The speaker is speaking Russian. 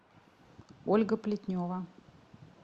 ольга плетнева